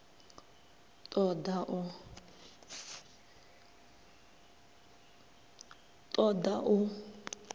ṱ o ḓ a u